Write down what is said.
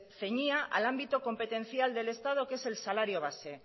ceñía al ámbito competencial del estado que es el salario base